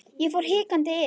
Ég fór hikandi inn.